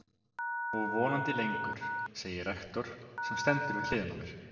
Og vonandi lengur, segir rektor, sem stendur við hliðina á mér.